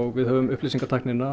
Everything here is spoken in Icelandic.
við höfum upplýsingatæknina